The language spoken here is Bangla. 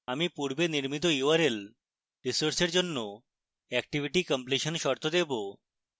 আমরা পূর্বে নির্মিত url resource জন্য activity completion শর্ত দেবো